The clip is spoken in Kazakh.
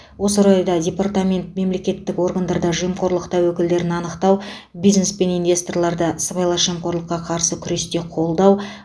осы орайда департамент мемлекеттік органдарда жемқорлық тәуекелдерін анықтау бизнес пен инвесторларды сыбайлас жемқорлыққа қарсы күресте қолдау